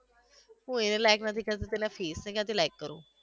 હુ એને like નથી કરતી તો નથી એને ક્યાંથી like કરુ